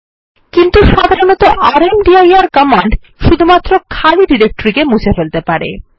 কিন্তু সাধারণত rmdir command শুধুমাত্র খালি ডিরেক্টরি কে মুছে ফেলতে পারে